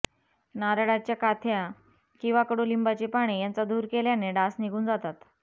नारळाच्या काथ्या किंवा कडुलिंबाची पाने यांचा धूर केल्याने डास निघून जातात